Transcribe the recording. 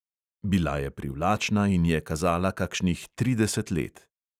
Bila je privlačna in je kazala kakšnih trideset let.